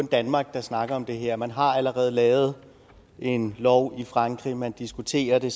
danmark der snakker om det her man har allerede lavet en lov i frankrig og man diskuterer det